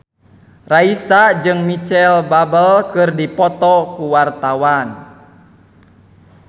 Raisa jeung Micheal Bubble keur dipoto ku wartawan